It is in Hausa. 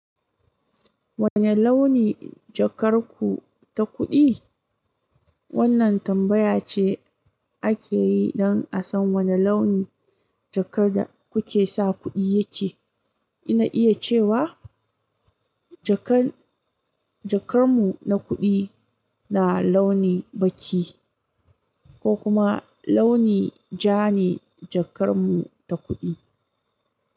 Wane launi jakar ku ta kuɗi? Wannan tambaya ce ake yi don a san wane launi jakar da kuke sa kuɗi yake. Ina iya cewa jakar mu na kuɗi na launi baki ko kuma launi ja ne jakar mu ta kuɗi.